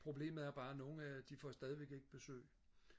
problemet er bare at nogen øh de får stadigvæk ikke besøg